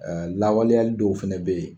Lawaleyali dɔw fana bɛ yen